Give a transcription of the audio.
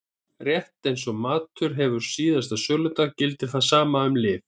Rétt eins og matur hefur síðasta söludag gildir það sama um lyf.